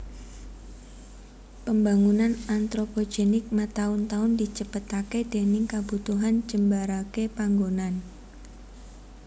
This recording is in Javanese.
Pembangunan antropogenik mataun taun dicepetaké déning kabutuhan njembaraké panggonan